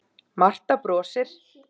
Marta brosir.